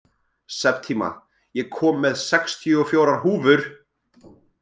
Septíma, ég kom með sextíu og fjórar húfur!